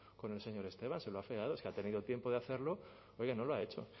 con el señor esteban se lo ha afeado es que ha tenido tiempo de hacerlo oiga y no lo ha hecho